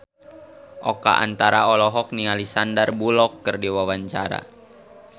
Oka Antara olohok ningali Sandar Bullock keur diwawancara